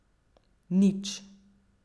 Nič!